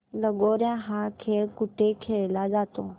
लगोर्या हा खेळ कुठे खेळला जातो